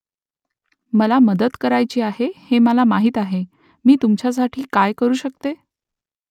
मला मदत करायची आहे हे मला माहीत आहे . मी तुमच्यासाठी काय करू शकते ?